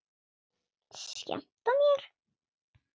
Skemmta mér?